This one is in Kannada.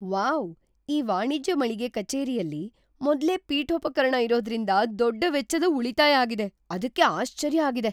ವಾವ್! ಈ ವಾಣಿಜ್ಯ ಮಳಿಗೆ ಕಚೇರಿಯಲ್ಲಿ ಮೊದ್ಲೇ ಪೀಠೋಪಕರಣ ಇರೊದ್ರಿಂದ ದೊಡ್ಡ ವೆಚ್ಚದ ಉಳಿತಾಯ್ ಆಗಿದೆ. ಅದಕ್ಕೆ ಆಶ್ಚರ್ಯ ಆಗಿದೆ.